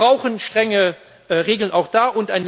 Wir brauchen strenge Regeln auch da.